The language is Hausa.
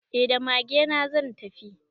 Eh da magena zan tafi.